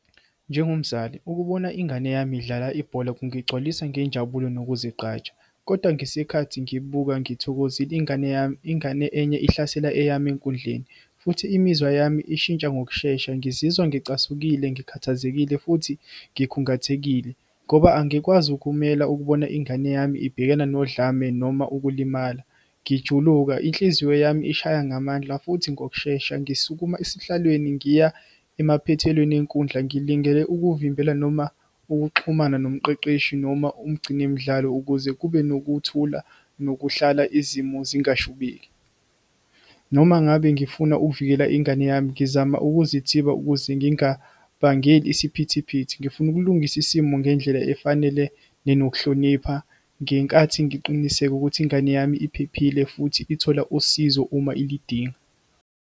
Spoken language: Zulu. Njengomzali, ukubona ingane yami idlala ibhola, kungigcwalisa ngenjabulo nokuzigqaja. Kodwa ngesikhathi ngibuka, ngithokozile, ingane yami, ingane enye ihlasela eyami enkundleni, futhi imizwa yami ishintsha ngokushesha, ngizizwa ngicasukile, ngikhathazekile, futhi ngikhungathekile, ngoba angikwazi ukumela ukubona ingane yami ibhekane nodlame, noma ukulimala. Ngijuluka, inhliziyo yami ishaya ngamandla futhi, ngokushesha ngisukuma esihlalweni ngiya emaphethelweni enkundla, ngilingele ukuvimbela, noma ukuxhumana nomqeqeshi, noma umgcinimdlalo, ukuze kube nokuthula, nokuhlala izimo zingashubile. Noma ngabe ngifuna ukuvikela ingane yami, ngizama ukuzithiba ukuze ngingabange isiphithiphithi, ngifuna ukulungisa isimo ngendlela efanele, nenokuhlonipha, ngenkathi ngiqiniseka ukuthi ingane yami iphephile, futhi ithola usizo uma ilidinga.